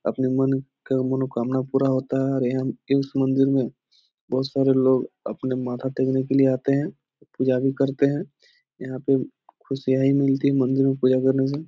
अपने मन का मनोकामना पूरा होता है और यहां इस मंदिर में बहुत सारे लोग अपने माथा टेकने के लिए आते हैं पूजा भी करते हैं यहां पे खुशियां ही मिलती हैं मंदिर में पूजा करने से --